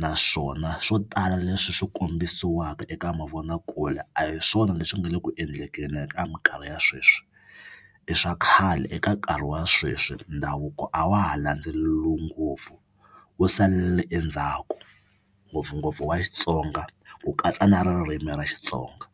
naswona swo tala leswi swi kombisiwaka eka mavonakule a hi swona leswi nga le ku endleni ka mikarhi ya sweswi i swa khale. Eka nkarhi wa sweswi ndhavuko a wa ha landzeriwi ngopfu wj salela endzhaku ngopfungopfu wa Xitsonga ku katsa na ririmi ra Xitsonga.